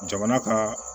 Jamana ka